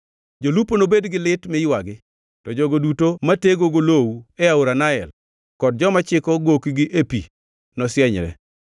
Jolupo nobed gi lit mi ywagi, to jogo duto matego golowu e aora Nael; kod joma chiko gokgi e pi nosienyre.